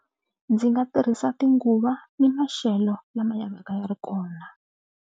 Ndzi nga tirhisa tinguva ni maxelo lama ya va ka ya ri kona.